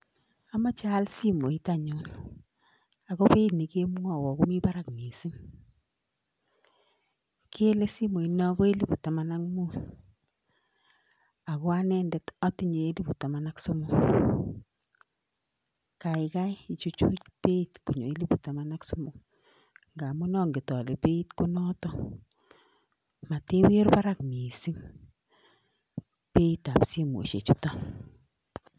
Amache aal simoit anyun, ako beit ne kemwawa komi barak mising. kele simoit no ko elipu taman ak mut, ako anendet atinye elipushek somok kaikai ichuchuch beit konyo elipushek taman ak somok ngamun anget ale peit ko notok. Matiwir barak mising peit ab simoishek chutok.